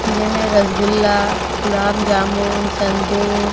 जेमें रसगुल्ला गुलाब-जामुन संदेश --